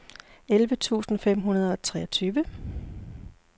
elleve tusind fem hundrede og treogtyve